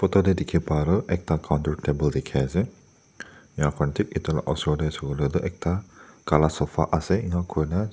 tate dekhi pai aru ekta counter te bore dekhi ase yeh khan teh etu laga usorte sabo letu ekta kala sefa ase etu hoina.